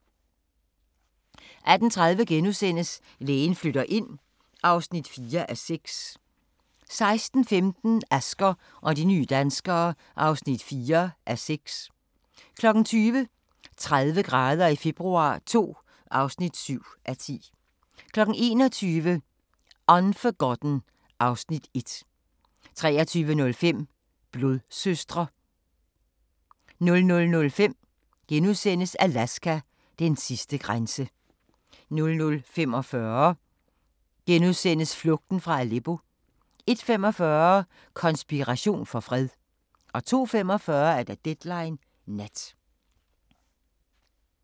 18:30: Lægen flytter ind (4:6)* 19:15: Asger og de nye danskere (4:6) 20:00: 30 grader i februar II (7:10) 21:00: Unforgotten (Afs. 1) 23:05: Blodsøstre 00:05: Alaska: Den sidste grænse * 00:45: Flugten fra Aleppo * 01:45: Konspiration for fred 02:45: Deadline Nat